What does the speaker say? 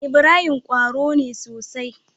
Ibrahim qwaro ne sosai